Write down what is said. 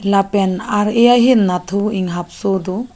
lapen ar eh ahin nat thu inghap so do.